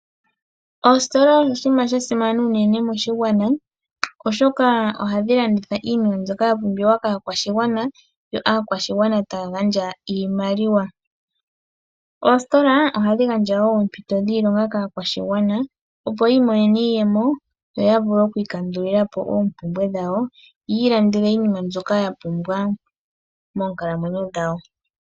Oositola oshinima sha simana unene moshigwana oshoka ohadhi landitha iinima mbyoka ya pumbiwa kaakwashigwana yo aakwashigwana taya gandja iimaliwa. Oositola ohadhi gandja woo oompito dhiilonga kaakwashigwana opo yi imonene iiyemo yo ya vule oku ikandulilapo oompumbwe dhawo yi ilandele iinima mbyoka ya pumbwa monkalamwenyo dhawo.